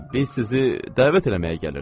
Biz sizi dəvət eləməyə gəlirdik.